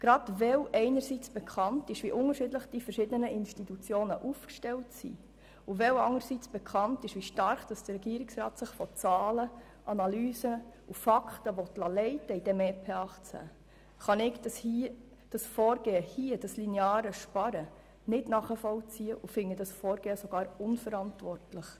Gerade weil einerseits bekannt ist, wie unterschiedlich die einzelnen Institutionen aufgestellt sind, und weil andererseits bekannt ist, wie stark sich der Regierungsrat hinsichtlich des EP 2018 von Zahlen, Analysen und Fakten leiten lassen will, kann ich dieses Vorgehen, das lineare Sparen, nicht nachvollziehen und finde dieses sogar unverantwortlich.